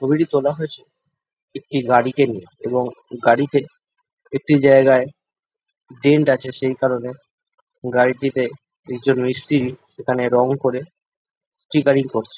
ছবিটি তোলা হয়েছে একটি গাড়িকে নিয়ে এবং গাড়িতে একটি জায়গায় ডেন্ট আছে সেই কারণে গাড়িটিতে কিছু মিস্তিরি সেখানে রং করে স্টিকারিং করছে ।